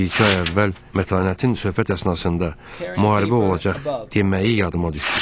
Bir-iki ay əvvəl Mətanətin söhbət əsnasında müharibə olacaq deməyi yadıma düşdü.